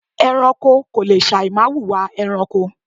ẹranko kò le sàì má wùwà ẹranko